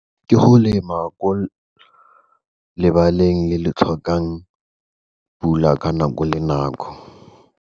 Ke go lema ko lebaleng le le tlhokang pula ka nako le nako.